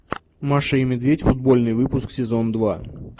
маша и медведь футбольный выпуск сезон два